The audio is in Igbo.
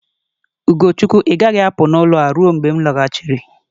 Ugochukwu, ị gaghị apụ n'ụlọ ruo mgbe m lọghachiri.